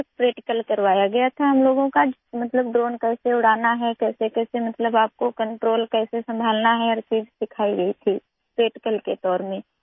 پھر پریکٹیکل ہوا، ہمارا مطلب ہے کہ ڈرون کیسے اڑانا ہے، کنٹرول کیسے سنبھالنا ہے، سب کچھ پریکٹیکل شکل میں سکھایا گیا